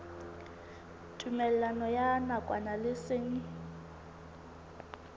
tumellano ya nakwana le seng